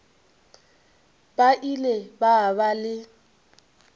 ba ile ba ba le